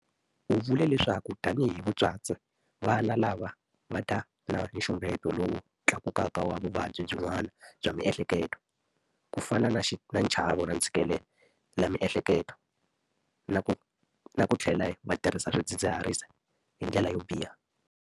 U vule leswaku tanihi vatswatsi, vana lava va ta va na nxungeto lowu tlakukaka wa vuvabyi byin'wana bya miehleketo, ku fana na nchavo na ntshikelelamiehleketo, na ku tlhela va tirhisa swidzidziharisi hi ndlela yo biha.